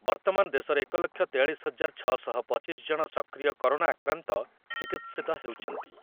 ବର୍ତ୍ତମାନ ଦେଶରେ ଏକ ଲକ୍ଷ ତେୟାଳିଶ ହଜାର ଛଅ ଶହ ପଚିଶ ଜଣ ସକ୍ରିୟ କରୋନା ଆକ୍ରାନ୍ତ ଚିକିତ୍ସିତ ହେଉଛନ୍ତି।